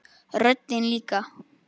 Röddin líka.